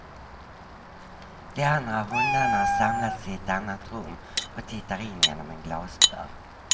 De andra hundarna har samlats i ett annat rum och tittar in genom en glasdörr.